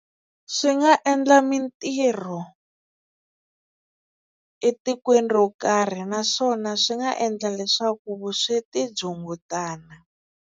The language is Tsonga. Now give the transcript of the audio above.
Swi nga endla mintirho etikweni ro karhi naswona swi nga endla leswaku vusweti byi hungutana.